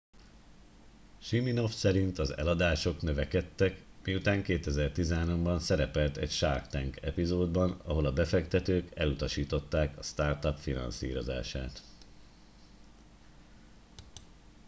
siminoff szerint az eladások növekedtek miután 2013 ban szerepelt egy shark tank epizódban ahol a befektetők elutasították a startup finanszírozását